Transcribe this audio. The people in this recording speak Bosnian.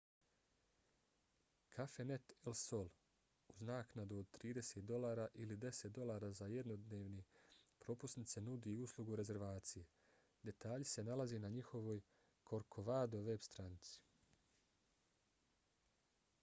cafenet el sol uz naknadu od 30 $ ili 10 $ za jednodnevne propusnice nudi uslugu rezervacije. detalji se nalaze na njihovoj corcovado veb-stranici